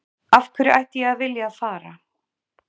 Af hverju ætti ég að vilja að fara?